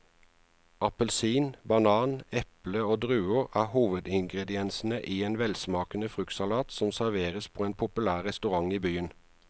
Appelsin, banan, eple og druer er hovedingredienser i en velsmakende fruktsalat som serveres på en populær restaurant i byen.